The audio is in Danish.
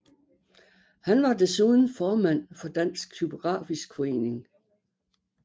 Han var desuden formand for Dansk Typografisk Forening